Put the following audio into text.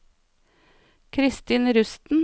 Christin Rusten